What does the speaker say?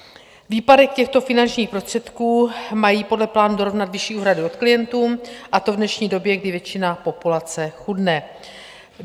Výpadek těchto finančních prostředků mají podle plánu dorovnat vyšší úhradu od klientů, a to v dnešní době, kdy většina populace chudne.